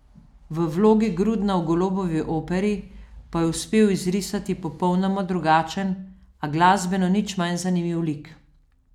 V vlogi Grudna v Golobovi operi pa je uspel izrisati popolnoma drugačen, a glasbeno nič manj zanimiv lik.